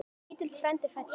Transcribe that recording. Lítill frændi fæddur.